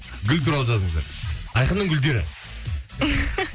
гүл туралы жазыңыздар айқынның гүлдері